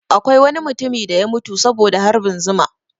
Akwai wani mutumi da ya mutu saboda harbin zuma